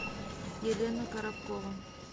елена коробкова